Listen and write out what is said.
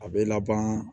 A bɛ laban